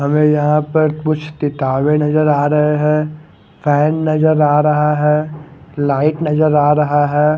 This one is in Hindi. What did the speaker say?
हमे यहा पर कुछ किताबे नजर आ रहे है फेन नजर आ रहा है लाइट नजर आ रहा है।